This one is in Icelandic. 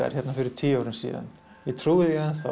fyrir tíu árum ég trúi því enn